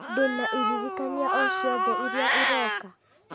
ndĩna iririkania o ciothe iria iroka